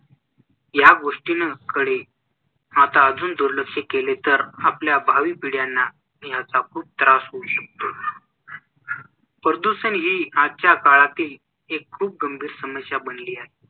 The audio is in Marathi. या गोष्टींकडे आता अजून दुर्लक्ष केले तर आपल्या भावी पिढयांना याचा खूप त्रास होऊ शकतो. प्रदूषण ही आजच्या काळातील एक खूप गंभीर समस्या बनली आहे.